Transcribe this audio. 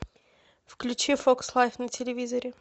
включи фокс лайф на телевизоре